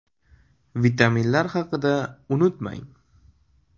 Vitaminlar haqida unutmang.